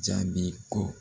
Jabi ko